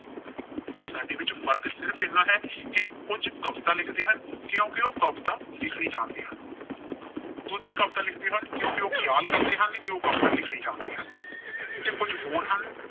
ਸਾਡੇ ਵਿੱਚ ਫਰਕ ਸਿਰਫ਼ ਇਨਾ ਹੈ ਕਿ ਕੁਝ ਕਵਿਤਾ ਲਿਖਦੇ ਹਨ, ਕਿਉਂਕਿ ਉਹ ਕਵਿਤਾ ਲਿਖਣੀ ਜਾਣਦੇ ਹਨ। ਦੂਜੇ ਕਵਿਤਾ ਲਿਖਦੇ ਹਨ, ਕਿਉਂਕਿ ਉਹ ਖਿਆਲ ਕਰਦੇ ਹਨ ਕਿ ਉਹ ਕਵਿਤਾ ਲਿਖਣੀ ਜਾਣਦੇ ਹਨ ਤੇ ਕੁਝ ਹੋਰ ਹਨ।